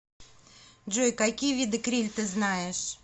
джой какие виды криль ты знаешь